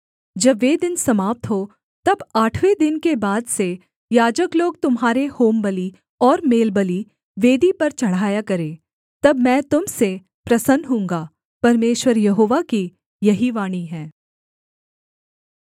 जब वे दिन समाप्त हों तब आठवें दिन के बाद से याजक लोग तुम्हारे होमबलि और मेलबलि वेदी पर चढ़ाया करें तब मैं तुम से प्रसन्न होऊँगा परमेश्वर यहोवा की यही वाणी है